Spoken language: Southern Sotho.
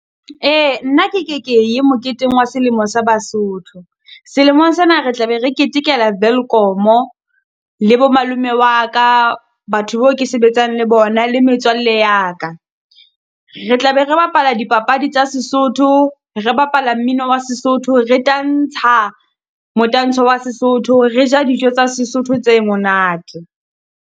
Ee, nna ke ke ke ye moketeng wa selemo sa Basotho. Selemong sena re tla be re ketekela Welkom-o le bo malome wa ka, batho beo ke sebetsang le bona, le metswalle ya ka. Re tla be re bapala dipapadi tsa Sesotho, re bapala mmino wa Sesotho, re tantsha motantsho wa Sesotho, re ja dijo tsa Sesotho tse monate.